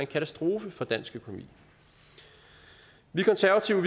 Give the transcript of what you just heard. katastrofe for dansk økonomi vi konservative